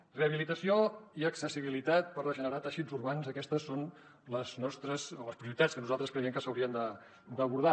rehabilitació i accessibilitat per regenerar teixits urbans aquestes són les prioritats que nosaltres creiem que s’haurien d’abordar